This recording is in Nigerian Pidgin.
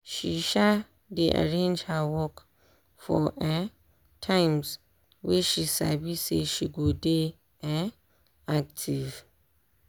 she um dey arrange her work for um times wey she sabi say she go dey um active